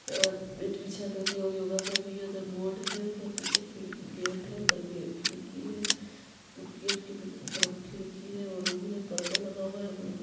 अ अ मेट बिछा कर के योगा कर रही है उधर बोर्ड है उधर पीछे खिड़की गेट है उधर खिड़की है गेट के अंदर में खिड़की है और रूम है पर्दा लगा हुआ है ब्लू कलर--